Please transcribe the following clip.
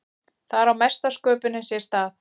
þar á mesta sköpunin sér stað